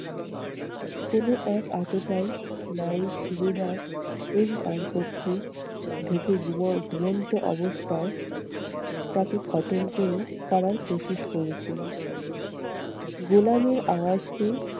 কোনো এক আততায়ী নায়েব সুবেদার এর কক্ষে ঢুকে ঘুম~ ঘুমন্ত অবস্থায় তাকে খতম করে করার করেছিল। গোলামের আওয়াজ পেয়ে